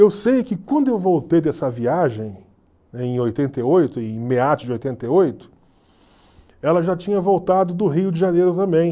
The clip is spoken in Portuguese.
Eu sei que quando eu voltei dessa viagem, em oitenta e oito, em meados de oitenta e oito, ela já tinha voltado do Rio de Janeiro também.